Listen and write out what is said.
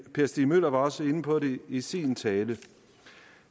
stig møller var også inde på det i sin tale